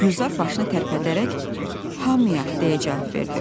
Gülzar başını tərpədərək "Hamıya" deyə cavab verdi.